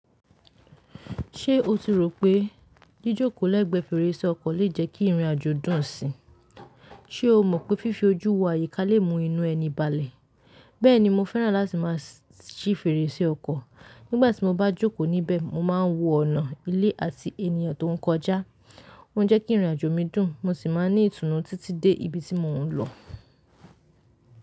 Ṣé o tí rò pé jíjòkò l'ẹ̀gbẹ́ fèrèsé ọkọ̀ le jẹ́ kí ìrìn àjò dùn síi? Ṣé o mọ̀ pé fífi ojú wo àyíká lè mú inú ẹni balẹ̀? Bẹ́ẹ̀ni, mo fẹ́ràn láti máa ṣí fèrèsé ọkọ̀. Nígbà tí mo bá jókòó níbẹ̀, mo máa ń wo ọ̀nà, ilé àti ènìyàn tó ń kọjá. Ó ń jẹ́ kí ìrìn àjò mi dùn, mo sì máa ní ìtùnú títí dé ibi tí mo ń lọ.